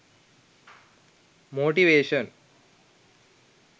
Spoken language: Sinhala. motivation